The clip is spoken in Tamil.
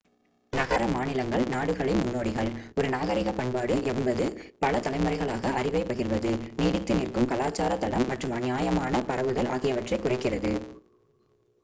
நகர-மாநிலங்கள் நாடுகளின் முன்னோடிகள் ஒரு நாகரிக பண்பாடு என்பது பல தலைமுறைகளாக அறிவை பகிர்வது நீடித்து நிற்கும் கலாச்சார தடம் மற்றும் நியாயமான பரவுதல் ஆகியவற்றைக் குறிக்கிறது